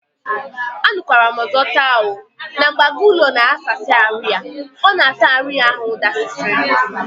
Anukwaram ọzọ taa oo! na mgbe agụ ụlọ na aghasịsị arụ ya, ọ na ata arụ ya ahụ dasịsị